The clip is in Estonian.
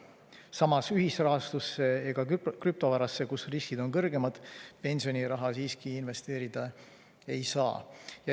Samas, ühisrahastusse ega krüptovarasse, kus riskid on kõrgemad, pensioniraha siiski investeerida ei saa.